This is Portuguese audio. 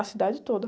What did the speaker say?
A cidade toda.